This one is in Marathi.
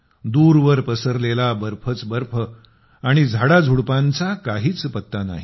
दूरवर पसरलेला बर्फच बर्फ आणि झाडाझुडपांचा काहीच पत्ता नाही